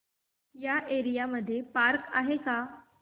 या एरिया मध्ये पार्क आहे का